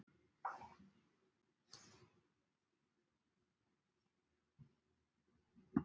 Hann tilkynnti mér að veiðarnar yrðu seldar á leigu þeim sem lægst byði.